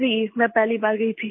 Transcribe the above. जी मैं पहली बार गई थी